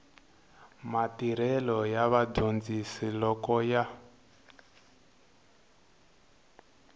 matirhelo ya vadyondzi loko ya